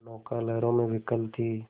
नौका लहरों में विकल थी